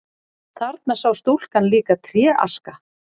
Þarna sá stúlkan líka tréaska.